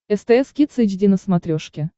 стс кидс эйч ди на смотрешке